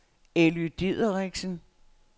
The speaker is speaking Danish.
Elly Dideriksen